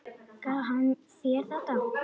Gaf hann þér þetta?